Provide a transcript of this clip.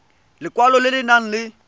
lekwalo le le nang le